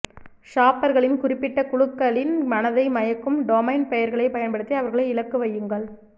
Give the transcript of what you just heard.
ஷாப்பர்களின் குறிப்பிட்ட குழுக்களின் மனதை மயக்கும் டொமைன் பெயர்களைப் பயன்படுத்தி அவர்களை இலக்குவையுங்கள்